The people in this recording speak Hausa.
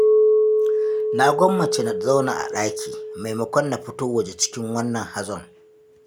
Na gwammace na zauna a ɗaki, maimakon na fito waje cikin wannan hazon.